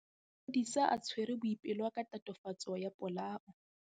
Maphodisa a tshwere Boipelo ka tatofatsô ya polaô.